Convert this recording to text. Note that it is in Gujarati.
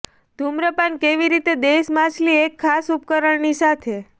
ધૂમ્રપાન કેવી રીતે દેશ માછલી એક ખાસ ઉપકરણ ની મદદ સાથે